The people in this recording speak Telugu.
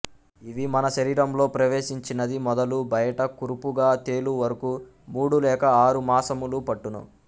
ఇవి మన శరీరములో ప్రవేశించినది మొదలు బయట కురుపుగా తేలు వరకు మూడు లేక ఆరు మాసములు పట్టును